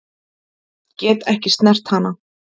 Get ekki snert hana.